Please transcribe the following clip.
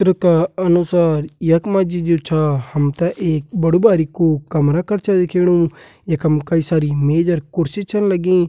चित्र का अनुसार यख मा जी जु छा हम ते एक बड़ु बारिकु कमरा कर छा दिखेणु यखम कई सारी मेज अर कुर्सी छन रखीं।